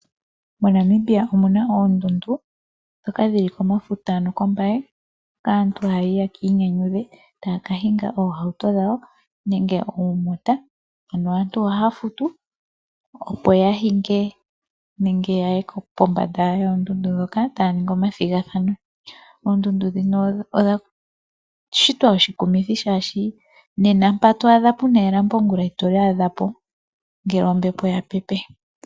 MoNamibia omuna oondundu ndhoka dhili komafuta noko Mbaye aantu haya yi ye kinyanyudhe taya ka hinga oohauto dhawo nenge oomota, aantu ohaya futu opo ya hinge nenge yaye kombanda yoondundu ndhoka taya ningi omathigathano. Oondundu ndhino odha shitwa oshikumithi shashi nena mpa to adha puna elambo ongula itoli adha po ngele ombepo ya pepe.